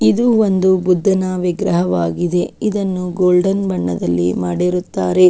ಇದು ಒಂದು ಬುದ್ಧನ ವಿಗ್ರಹವಾಗಿದೆ ಇದನ್ನು ಗೋಲ್ಡನ್ ಬಣ್ಣದಲ್ಲಿ ಮಾಡಿರುತ್ತಾರೆ.